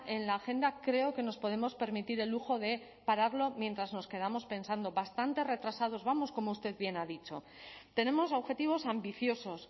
en la agenda creo que nos podemos permitir el lujo de pararlo mientras nos quedamos pensando bastante retrasados vamos como usted bien ha dicho tenemos objetivos ambiciosos